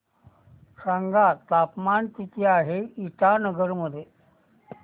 सांगा तापमान किती आहे इटानगर मध्ये